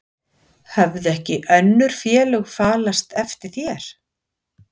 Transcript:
Höfðu ekki önnur félög falast eftir þér?